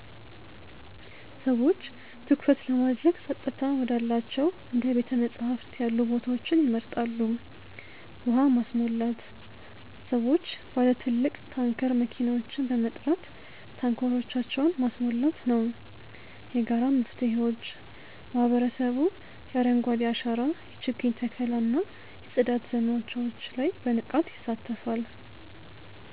ሰዎች ትኩረት ለማድረግ ጸጥታ ወዳላቸው እንደ ቤተ-መጻሕፍት ያሉ ቦታዎችን ይመርጣሉ። ውሃ ማስሞላት፦ ሰዎች ባለ ትልቅ ታንከር መኪናዎችን በመጥራት ታንከሮቻቸውን ማስሞላት ነው። የጋራ መፍትሄዎች፦ ማህበረሰቡ የአረንጓዴ አሻራ የችግኝ ተከላ እና የጽዳት ዘመቻዎች ላይ በንቃት ይሳተፋል።